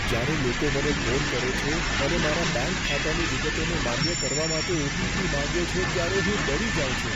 જ્યારે લોકો મને ફોન કરે છે અને મારા બેંક ખાતાની વિગતોને માન્ય કરવા માટે ઓ.ટી.પી. માંગે છે ત્યારે હું ડરી જાઉં છું.